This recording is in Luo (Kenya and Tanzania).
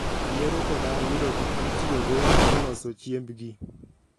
Yiero koda yudo gik mitiyogo e loso chiembgi